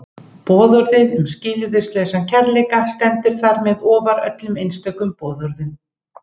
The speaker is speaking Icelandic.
Boðorðið um skilyrðislausan kærleika stendur þar með ofar öllum einstökum boðorðum.